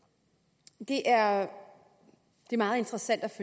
det er